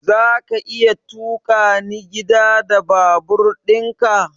Zaka iya tukani gida da babur ɗin ka?